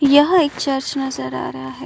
यह एक चर्च नज़र आ रहा है।